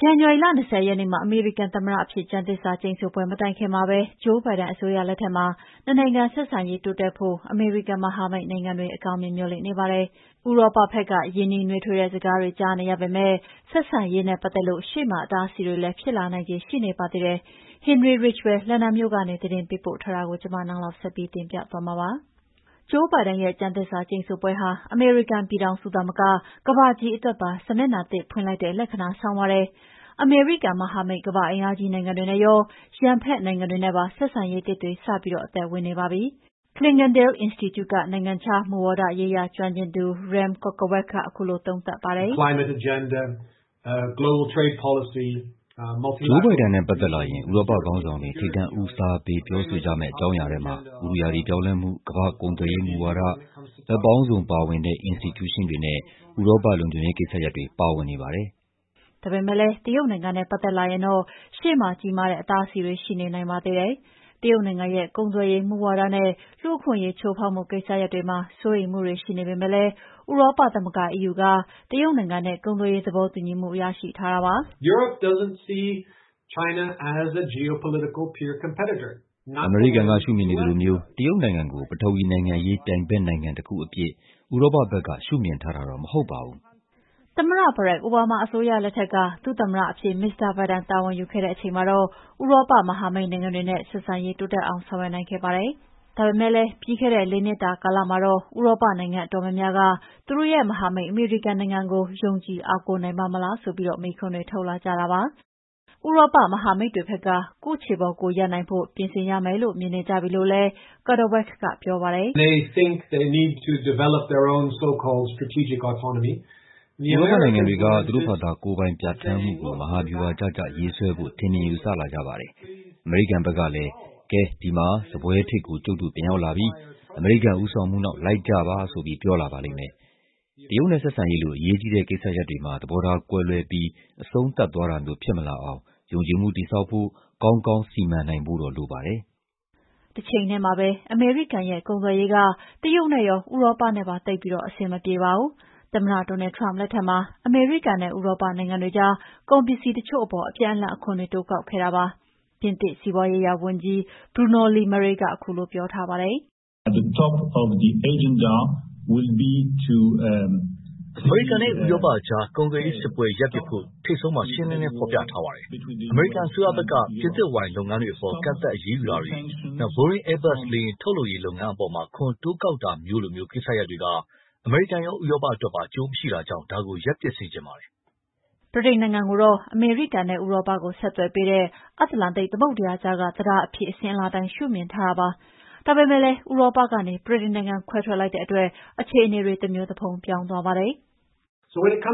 ဇန်နဝါရီလ ၂၀ ရက်နေ့မှာ အမေရိကန် သမ္မတအဖြစ် ကျမ်းသစ္စာကျိန်ဆိုပွဲ မတိုင်ခင်မှာပဲ Joe Biden အစိုးရလက်ထက်မှာ နှစ်နိုင်ငံဆက်ဆံရေးတိုးတက်ဖို့ အမေရိကန်မဟာမိတ်နိုင်ငံတွေက အကောင်းမြင်မေ ျှာ်လင့်နေကြပါတယ်။ ဥရောပဘက်က ရင်းနှီးနွေးထွေးတဲ့ စကားတွေ ကြားနေရပေမဲ့လည်း ရှေ့မှာ ဆက်ဆံရေးနဲ့ပတ်သက်လို့ အတားအဆီးတွေလည်း ဖြစ်လာနိုင်ခြေ ရှိနေပါတယ်။ Henry Ridgwell လန်ဒန်မြို့ကနေ သတင်းပေးပို့ထားတာကို နန်းလောင်ဝ်က တင်ပြထားပါတယ်။ ဂျိုးဘိုင်ဒန်ရဲ့ ကျမ်းသစ္စာကျိန်ဆိုပွဲဟာ အမေရိကန်ပြည်ထောင်စုသာမက ကမ္ဘာကြီးအတွက်ပါ စာမျက်နှာသစ်ဖွင့်လိုက်တဲ့ လက္ခဏာ ဆောင်ပါတယ်။ အမေရိကန်မဟာမိတ် ကမ္ဘာ့အင်အားကြီးနိုင်ငံတွေနဲ့ရော ရန်ဘက်နိုင်ငံတွေနဲ့ပါ ဆက်ဆံရေးသစ်တွေ စပြီးအသက်ဝင်နေပါပြီ။ ဥရောပဘက်မှာတော့ အကောင်းမြင်မေ ျှာ်လင့်နေကြပါတယ်။ Clingendael Institute ကနိုင်ငံခြားမူဝါရေးရာ ကျွမ်းကျင်သူ Rem Korteweg က ခုလိုသုံးသပ်ပါတယ်။ "ဂျိုးဘိုင်ဒန်နဲ့ ပတ်သက်လာရင် ဥရောပခေါင်းဆောင်တွေ ထိပ်တန်းဦးစားပေး ပြောဆိုကြမယ့် အကြောင်းအရာထဲမှာ ဥတုရာသီပြောင်းလဲမှု၊ ကမ္ဘာ့ကုန်သွယ်ရေးမူဝါဒ၊ ဘက်ပေါင်းစုံပါဝင်တဲ့ အင်စတီကျူးရှင်းတွေနဲ့ ဥရောပလုံခြုံရေးကိစ္စရပ်တွေ ပါဝင်နေပါတယ်။" ဒါပေမဲ့လည်း တရုတ်နိုင်ငံနဲ့ ပတ်သက်လာရင်တော့ ရှေ့မှာ ကြီးမားတဲ့ အတားအဆီးတွေရှိနိုင်ပါသေးတယ်။ တရုတ်နိုင်ငံရဲ့ ကုန်သွယ်ရေးမူဝါဒနဲ့ လူ့အခွင့်အရေး ချိူးဖောက်မှု ကိစ္စတွေမှာ စိုးရိမ်မှုတွေ ရှိနေပေမဲ့လည်း ဥရောပသမဂ္ဂ EU က တရုတ်နိုင်ငံနဲ့ ကုန်သွယ်ရေးသဘောတူညီမှု ရထားပါတယ်။ "အမေရိကန်ရှုမြင်နေသလိုမျိုး တရုတ်နိုင်ငံကို ပထဝီဝင်နိုင်ငံရေး ပြိုင်ဘက်နိုင်ငံတခု အဖြစ် ဥရောပဘက်က ရှုမြင်ထားတာတော့ မဟုတ်ပါဘူး။" သမ္မတ Barak Obama အစိုးရလက်ထက်က ဒုသမ္မတအဖြစ် မစ္စတာ ဘိုင်ဒန်တာဝန်ယူခဲ့တဲ့အချိန်မှာတော့ ဥရောပမဟာမိတ်နိုင်ငံတွေနဲ့ ဆက်ဆံရေးတိုးတက်အောင် ဆောင်ရွက်နိုင်ခဲ့ပါတယ်။ ဒါပေမဲ့ ပြီးခဲ့တဲ့ ၄ နှစ်တာမှာတော့ ဥရောပနိုင်ငံအတော်များများက သူတို့ရဲ့ မဟာမိတ် အမေရိကန်နိုင်ငံကို ပုံပြီး ယုံကြည်အားကိုးနိုင်ပါ့မလားဆိုပြီး မေးခွန်းတွေထုတ်လာကြပါတယ်။ ဥရောပ မဟာမိတ်တွေဘက်က ကိုယ့်ခြေကိုယ် ရပ်နိုင်ဖို့ ပြင်ဆင်ရမယ်လို့ မြင်နေကြပြီလို့ Rem Korteweb က ပြောပါတယ်။ "ဥရောပနိုင်ငံတွေက သူတို့ဘာ့သာ ကိုယ်ပိုင်ပြဌာန်းမှုကို မဟာဗျူဟာကျကျ ရေးဆွဲဖို့ ထင်မြင်ယူဆလာကြပါတယ်။ အမေရိကန်ဘက်ကလည်း... ”ကဲ... ဒီမှာ စားပွဲထိပ်ကို ကျုပ်တို့ပြန်ရောက်လာပါပြီ။ အမေရိကန်ဦးဆောင်မှုနောက်လိုက်ကြပါ။” ဆိုပြီး ပြောလာပါလိမ့်မယ်။တရုတ်နဲ့ဆက်ဆံရေးလို အရေးကြီးတဲ့ကိစ္စရပ်တွေမှာ သဘောထားကွဲလွဲပြီးအဆုံးသတ်သွားတာမျိုးဖြစ်မလာအောင် ယုံကြည်မှုတည်ဆောက်ဖို့၊ ကောင်းကောင်းစီမံနိုင်ဖို့တော့လိုပါတယ်။" တချိန်ထဲမှာပဲ အမေရိကန်ရဲ့ကုန်သွယ်ရေးဟာ တရုတ်နဲ့ရော ဥေရောပနဲ့ပါ သိပ်ပြီးအဆင်အမပြေပါဘူး။ သမ္မတ Donald Trump လက်ထက်မှာ အမေရိကန်နဲ့ ဥရောပနိုင်ငံတွေကြား ကုန်ပစ္စည်းတချို့အပေါ် အပြန်အလှန်အခွန်တွေ တိုးကောက်ခဲ့ကြပါတယ်။ ပြင်သစ် စီးပွါးရေးရာဝန်ကြီး Bruno Le Maire ကခုလိုပြောထားပါတယ်။ "အမေရိကန်နဲ့ ဥရောပကြား ကုန်သွယ်ရေး စစ်ပွဲရပ်ပစ်ဖို့ ထိပ်ဆုံးမှာ ရှင်းရှင်းလင်းလင်းဖော်ပြထားပါတယ်။ အမေရိကန်အစိုးရဘက်က ပြင်သစ်ဝိုင်လုပ်ငန်းတွေအပေါ် ကန့်သတ်အရေးယူထားတာတွေ၊ Boeing-Airbus လေယာဉ်ထုတ်လုပ်ရေးလုပ်ငန်းအပေါ် အခွန်တိုးကောက်ထားတာမျိုးလို ကိစ္စရပ်တွေက အမေရိကန်ရော ဥရောပအတွက်ပါ အကျိုးမရှိတာကြောင့် ဒါကို ရပ်ပစ်စေချင်ပါတယ်။" ဗြိတိန်နိုင်ငံကိုတော့ အမေရိကန်နဲ့ဥရောပကို ဆက်သွယ်ပေးတဲ့ အတ္တလန်တိန်သမုဒ္ဒရာကြားက တံတားအဖြစ် အစဉ်အလာအတိုင်း ရှုမြင်ထားကြတာပါ။ ဒါပေမဲ့လည်း ဥရောပကနေ ဗြိတိန်နိုင်ငံခွဲထွက်လိုက်တဲ့အတွက် အခြေအနေတွေ တမျိုးတဖုံပြောင်းသွားပါတယ်။ "ကုန်သွယ်ရေးက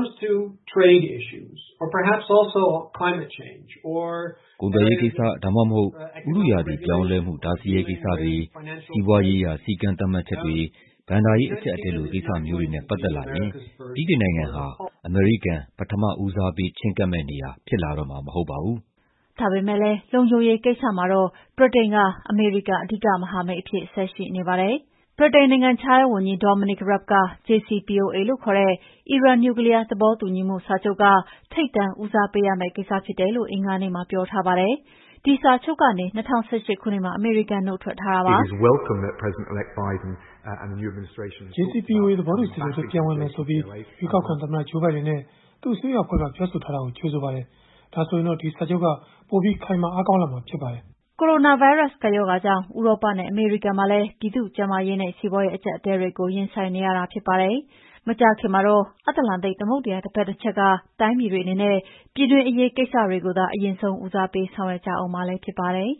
ိစ္စ၊ ဒါမှမဟုတ် ဥတုရာသီပြောင်းလဲမှု တားဆီးရေးကိစ္စတွေ၊ စီးပွါးရေးရာ စည်းကမ်းသတ်မှတ်ချက်တွေ၊ ဘဏ္ဍာရေးအကြပ်အတည်းလို ကိစ္စမျိုးတွေနဲ့ ပတ်သက်လာရင် ဗြိတိန်နိုင်ငံဟာ အမေရိကန်ပထမဦးစားပေး ချည်းကပ်မယ့် နေရာဖြစ်လာတော့မှာ မဟုတ်ပါဘူး။” ဒါပေမဲ့လည်း လုံခြုံရေးကိစ္စမှာတော့ ဗြိတိန်က အမေရိကန် အဓိကမဟာမိတ်အဖြစ်ဆက်ရှိနေပါတယ်။ ဗြိတိန်နိုင်ငံခြားရေးဝန်ကြီး Dominic Raab က JCPOA လို့ခေါ်တဲ့ အီရန်နျူကလီးယား သဘောတူညီမှုစာချုပ်က ထိပ်တန်း ဦးစားပေးရမယ့်ကိစ္စဖြစ်တယ်လို့ အင်္ဂါနေ့မှာ ပြောထားပါတယ်။ ဒီစာချုပ်ကနေ ၂၀၁၈ ခုနှစ်မှာ အမေရိကန်နုတ်ထွက်ထားတာပါ။ "JCPOA သဘောတူစာချုပ်ထဲ ပြန်ဝင်မယ်ဆိုပြီး ရွေးကောက်ခံသမ္မတ ဂျိုးဘိုင်ဒန်နဲ့ သူ့အစိုးရအဖွဲ့က ပြောဆိုထားတာကို ကြိုဆိုပါတယ်။ ဒါဆိုရင်တော့ ဒီစာချုပ်က ပိုပြီးခိုင်မာ အားကောင်းလာမှာဖြစ်ပါတယ်။" ကိုရိုနာဗိုင်းရပ်စ်ကပ်ရောဂါကြောင့် ဥရောပနဲ့ အမေရိကန်ပြည်မှာလည်း ပြည်သူ့ကျန်းမာရေးနဲ့ စီးပွါးရေးအကြပ်အတည်းတွေကို ရင်ဆိုင်နေရတာဖြစ်ပါတယ်။ မကြာခင်မှာတော့ အတ္တလန်တိန်သမုဒ္ဒရာတဘက်တချက်က တိုင်းပြည်တွေအနေနဲ့ ပြည်တွင်းအရေးပေါ်ကိစ္စတွေကိုသာ အရင်ဆုံးဦးစားပေးဆောင်ရွက်ကြဦးမှာလည်း ဖြစ်ပါတယ်။